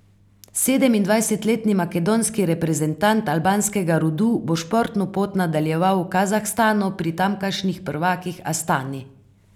Sedemindvajsetletni makedonski reprezentant albanskega rodu bo športno pot nadaljeval v Kazahstanu pri tamkajšnjih prvakih Astani.